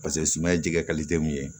Paseke suma ye jɛgɛ ye